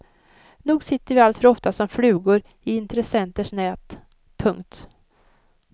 Nog sitter vi alltför ofta som flugor i intressenters nät. punkt